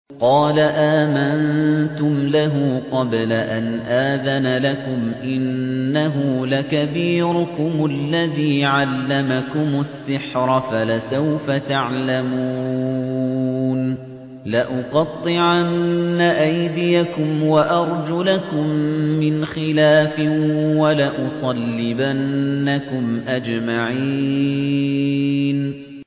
قَالَ آمَنتُمْ لَهُ قَبْلَ أَنْ آذَنَ لَكُمْ ۖ إِنَّهُ لَكَبِيرُكُمُ الَّذِي عَلَّمَكُمُ السِّحْرَ فَلَسَوْفَ تَعْلَمُونَ ۚ لَأُقَطِّعَنَّ أَيْدِيَكُمْ وَأَرْجُلَكُم مِّنْ خِلَافٍ وَلَأُصَلِّبَنَّكُمْ أَجْمَعِينَ